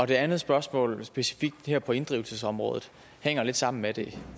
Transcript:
det andet spørgsmål er specifikt her på inddrivelsesområdet og hænger lidt sammen med det